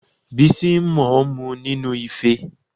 Bísí ń mo mu nínúu ife